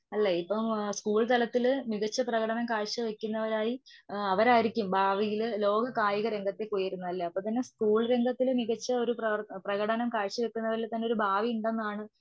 അല്ലെ ഇപ്പൊ ആ സ്കൂൾ തലത്തില് മികച്ച പ്രകടനം കാഴ്ച വെക്കുന്നവരായി അവരായിരിക്കും ഭാവിയില് ലോക കായികരംഗത്തേക്ക് ഉയരുന്നതല്ലേ. അപ്പത്തന്നെ സ്കൂൽരംഗത്തില് മികച്ച ഒരു പ്രാ പ്രകടനം കാഴ്ചവെക്കുന്നവരിൽ ഒരു ഭാവിയുണ്ടെന്നാണ്